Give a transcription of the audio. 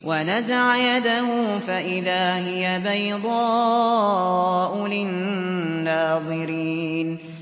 وَنَزَعَ يَدَهُ فَإِذَا هِيَ بَيْضَاءُ لِلنَّاظِرِينَ